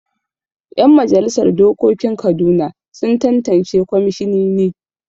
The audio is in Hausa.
Yan majalisar dokokin Kaduna sun tattance kwamishinini.